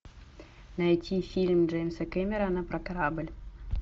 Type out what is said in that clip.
найти фильм джеймса кэмерона про корабль